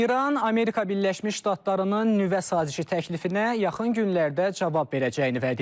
İran Amerika Birləşmiş Ştatlarının nüvə sazişi təklifinə yaxın günlərdə cavab verəcəyini vəd edib.